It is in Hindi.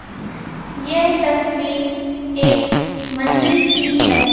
ये तस्वीर एक मंदिर की हैं।